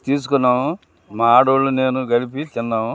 తిస్కున్నాం మా ఆడొళ్ళు నేను కలిపి తిన్నాము.